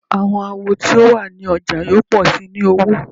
Awọn awo ti o wa ni ọja yoo pọ si ni owo